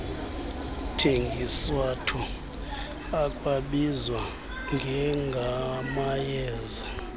athengiswato akwabizwa njengamayeza